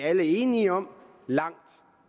alle enige om